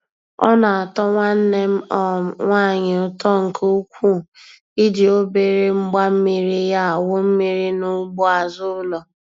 Ọ na-atọ nwanne m um nwaanyị ụtọ nke ukwuu i ji obere mgbammiri ya awụ mmiri n'ugbo azụ ụlọ.